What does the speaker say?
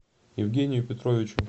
евгению петровичу